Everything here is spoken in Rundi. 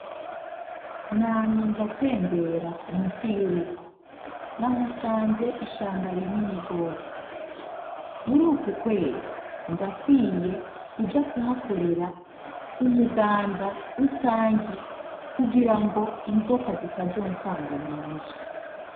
Namye ndatembera musi y'urugo. Nahasanze ishamba rinini rwose. Muri uku kwezi, ndakwiye kuja kuhakorera umuganda rusangi kugirango inzoka zitazonsanga mu nzu.